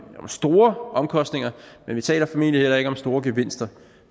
store omkostninger men vi taler formentlig heller ikke om store gevinster